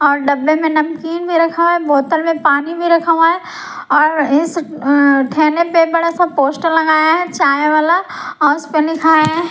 और डब्बे में नमकीन भी रखा है बोतल में पानी भी रखा हुआ है और इस ठेने पे बड़ा सा पोस्टर लगाया है चाय वाला और उस पे लिखा है।